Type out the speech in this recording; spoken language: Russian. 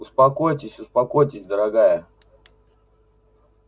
успокойтесь успокойтесь дорогая